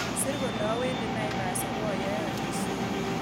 Sir kole awendi naivas oboyae alisiet